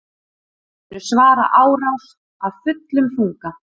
Munu svara árás af fullum þunga